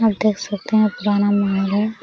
आप देख सकते है पुराना महल है।